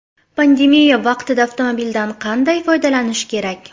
Pandemiya vaqtida avtomobildan qanday foydalanish kerak?.